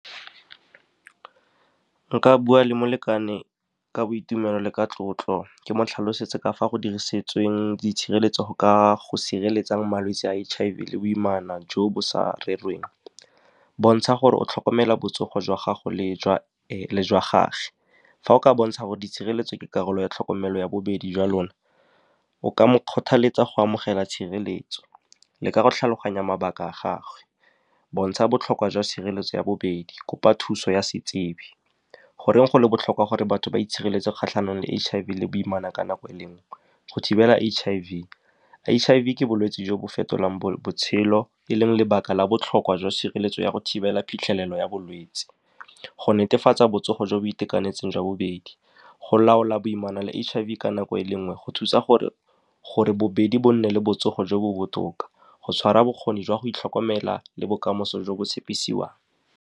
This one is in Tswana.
Nka bua le molekane ka boitumelo le ka tlotlo, ke mo tlhalosetse ka fa go dirisitsweng itshireletso go ka go sireletsa malwetse a H_I_V le boimana jo bo sa rerweng, bontsha gore o tlhokomela botsogo jwa gago le jwa gage. Fa o ka bontsha gore di tshireletso ke karolo ya tlhokomelo ya bobedi jwa lona, o ka mo kgothaletsa go amogela tshireletso, leka go tlhaloganya mabaka a gagwe, bontsha botlhokwa jwa sireletso ya bobedi, kopa thuso ya setsebi, goreng go le botlhokwa gore batho ba itshireletse kgatlhanong le H_I_V le boimana ka nako e le nngwe. Go thibela H_I_V, H_I_V ke bolwetse jo bo fetolang botshelo, e leng lebaka la botlhokwa jwa sireletso ya go thibela phitlhelelo ya bolwetse, go netefatsa botsogo jo bo itekanetseng jwa bobedi, go laola boimana le H_I_V nako e le nngwe, go thusa gore bobedi bo nne le botsogo jo bo botoka, go tshwara bokgoni jwa go itlhokomela le bokamoso jo bo tshepisiwang.